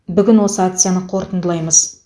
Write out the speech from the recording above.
бүгін осы акцияны қорытындылаймыз